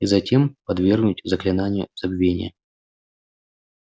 и затем подвергнуть заклинанию забвения